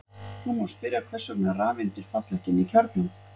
Nú má spyrja hvers vegna rafeindir falla ekki inn í kjarnann.